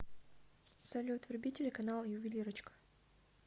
салют вруби телеканал ювелирочка